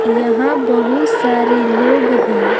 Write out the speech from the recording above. यहां बहुत सारे लोग हैं।